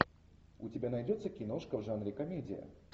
у тебя найдется киношка в жанре комедия